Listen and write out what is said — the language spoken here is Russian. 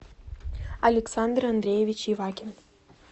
александр андреевич ивакин